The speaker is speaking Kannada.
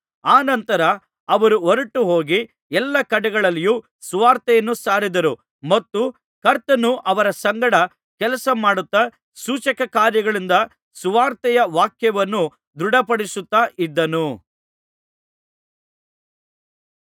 ಅನಂತರ ಅವರು ಹೊರಟುಹೋಗಿ ಎಲ್ಲಾ ಕಡೆಗಳಲ್ಲಿಯೂ ಸುವಾರ್ತೆಯನ್ನು ಸಾರಿದರು ಮತ್ತು ಕರ್ತನು ಅವರ ಸಂಗಡ ಕೆಲಸ ಮಾಡುತ್ತಾ ಸೂಚಕಕಾರ್ಯಗಳಿಂದ ಸುವಾರ್ತೆಯ ವಾಕ್ಯವನ್ನು ದೃಢಪಡಿಸುತ್ತಾ ಇದ್ದನು